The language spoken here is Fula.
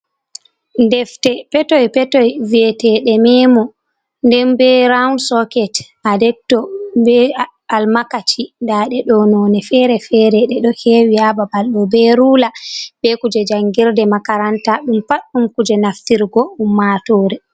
Defte petoy petoy viyeteɗe memo, nden be rawun soket, a depto be almakaci nda ɗe ɗo none fere-fere. Ɗe ɗo hewi ha babal ɗo be rula, be kuje jangirde makaranta ɗum pat ɗum kuje naftirgo ummatore.